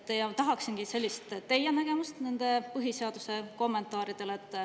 Ja tahaksingi teie nägemust nende põhiseaduse kommentaaride kohta.